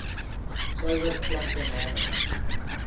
suiwer klanke namens